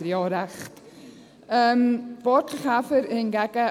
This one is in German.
Vielleicht hat er ja auch recht.